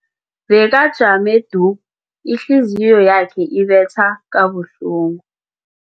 Bekajame du, ihliziyo yakhe ibetha kabuhlungu.